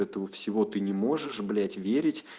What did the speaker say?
этого всего ты не можешь блядь верить